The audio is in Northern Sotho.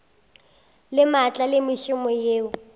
le maatla le mešomo yeo